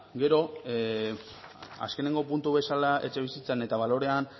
gero azkenengo puntu bezala etxebizitzan eta balorean